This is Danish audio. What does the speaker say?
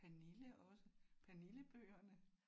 Pernille også. Pernillebøgerne